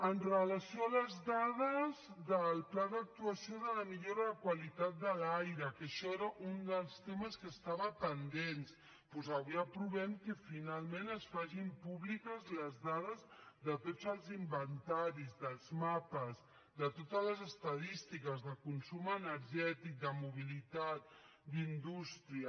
amb relació a les dades del pla d’actuació de la millora de la qualitat de l’aire que això era un dels temes que estaven pendents doncs avui aprovem que finalment es facin públiques les dades de tots els inventaris dels mapes de totes les estadístiques de consum energètic de mobilitat d’indústria